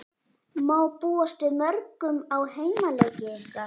Má búast við mörgum á heimaleiki ykkar?